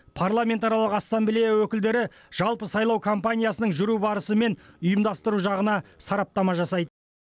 парламентаралық ассамблея өкілдері жалпы сайлау кампаниясының жүру барысы мен ұйымдастыру жағына сараптама жасайды